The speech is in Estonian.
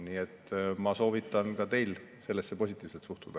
Nii et ma soovitan ka teil sellesse positiivselt suhtuda.